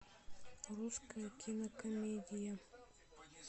русская кинокомедия